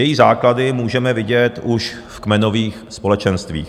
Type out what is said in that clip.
Její základy můžeme vidět už v kmenových společenstvích.